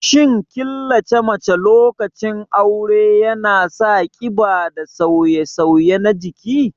Shin killace mace lokacin aure yana sa ƙiba da sauye-sauye na jiki?